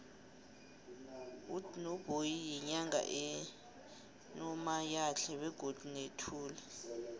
udnoboyi yinyanga enomoyatle begodu nethuli